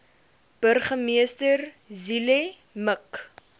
burgemeester zille mik